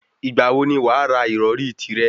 Ìgbà wo ni wàá ra ìrọrí tìrẹ?